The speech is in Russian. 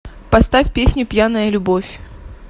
поставь песню пьяная любовь